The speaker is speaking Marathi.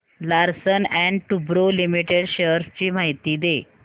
लार्सन अँड टुर्बो लिमिटेड शेअर्स ची माहिती दे